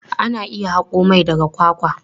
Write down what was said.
Ana iya haƙo mai daga kwakwa.